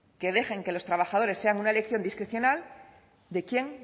que dejan que los trabajadores sean una elección discrecional de quien